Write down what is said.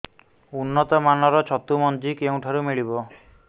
ଉନ୍ନତ ମାନର ଛତୁ ମଞ୍ଜି କେଉଁ ଠାରୁ ମିଳିବ